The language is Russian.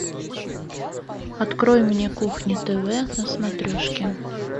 открой мне кухня тв на смотрешке